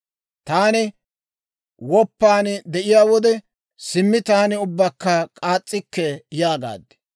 Taani woppan de'iyaa wode, «Simmi taani ubbakka k'aas's'ikke» yaagaad.